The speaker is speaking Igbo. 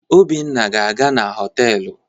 Obinna ga-aga na họtelu.